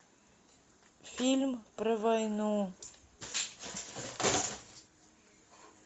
фильм про войну